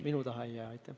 Minu taha asi ei jää.